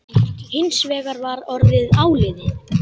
Hins vegar var orðið áliðið.